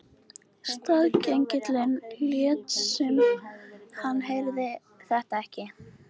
Staðgengillinn lét sem hann heyrði þetta ekki.